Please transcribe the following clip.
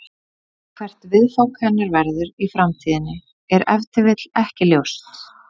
Hvert viðfang hennar verður í framtíðinni er ef til vill ekki ljóst.